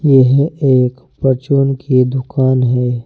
यह एक परचून की दुकान है।